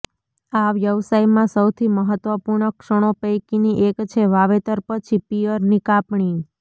આ વ્યવસાયમાં સૌથી મહત્વપૂર્ણ ક્ષણો પૈકીની એક છે વાવેતર પછી પિઅરની કાપણી